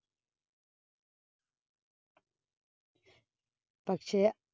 പക്ഷേ,